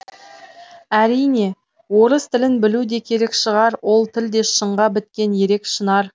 әрине орыс тілін білу де керек шығар ол тіл де шыңға біткен ерек шынар